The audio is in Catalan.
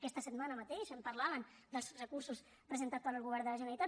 aquesta setmana mateix en parlaven dels recursos presentats pel govern de la generalitat